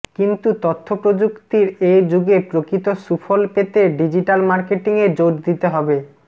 কিন্তু তথ্যপ্রযুক্তির এ যুগে প্রকৃত সুফল পেতে ডিজিটাল মার্কেটিংয়ে জোর দিতে হবে